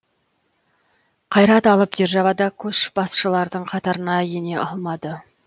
қайрат алып державада көшбасшылардың қатарына ене алмады